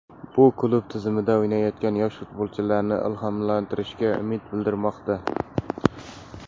Bu klub tizimida o‘ynayotgan yosh futbolchilarni ilhomlantirishiga umid bildirilmoqda.